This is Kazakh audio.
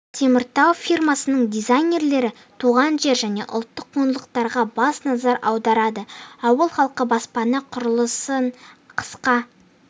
теміртау фирмасының дизайнерлері туған жер және ұлттық құндылықтарға баса назар аударады ауыл халқы баспана құрылысын қысқа